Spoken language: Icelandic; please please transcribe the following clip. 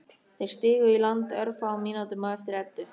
Þeir stigu í land örfáum mínútum á eftir Eddu.